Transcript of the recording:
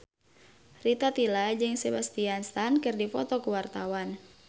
Rita Tila jeung Sebastian Stan keur dipoto ku wartawan